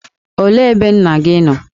Olee ebe nna gị nọ?